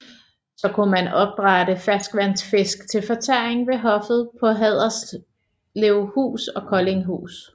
Så kunne man opdrætte ferskvandsfisk til fortæring ved hoffet på Haderslevhus og Koldinghus